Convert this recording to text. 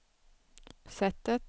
sättet